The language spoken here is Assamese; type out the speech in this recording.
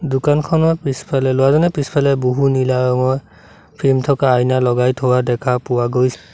দোকান পিছফালে ল'ৰাজনে পিছফালে বহু নীলা ৰঙৰ ক্ৰীম থকা আইনা লগাই থোৱা দেখা পোৱা গৈ--